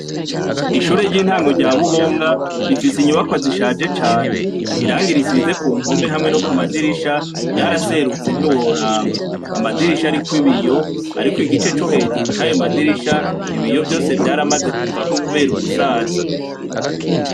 Ishure ry’intango rya Buhonga, rifise inyubakwa zishaje cane. Irangi risize ku mpome hamwe no kumadirisha ryaraserutse ntiworaba. Amadirisha ariko ibiyo, ariko igice co hejuru cayo madirisha ibiyo vyose vyaramaze kuvako kubera ugusaza.